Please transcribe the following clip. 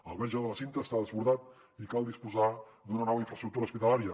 el verge de la cinta està desbordat i cal dis·posar d’una nova infraestructura hospitalària